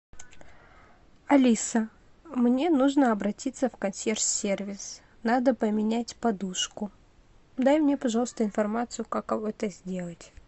алиса мне нужно обратиться в консьерж сервис надо поменять подушку дай мне пожалуйста информацию как это сделать